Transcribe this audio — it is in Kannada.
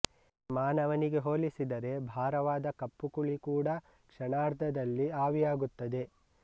ಮಾನವನಿಗೆ ಹೋಲಿಸಿದರೆ ಭಾರವಾದ ಕಪ್ಪು ಕುಳಿ ಕೂಡ ಕ್ಷಣಾರ್ದದಲ್ಲಿ ಆವಿಯಾಗುತ್ತದೆ